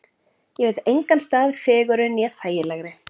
Ég veit engan stað fegurri né þægilegri.